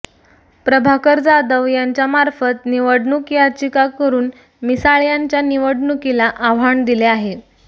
प्रभाकर जाधव यांच्यामार्फत निवडणूक याचिका करून मिसाळ यांच्या निवडणुकीला आव्हान दिले आहे